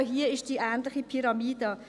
Auch hier gibt es eine ähnliche Pyramide.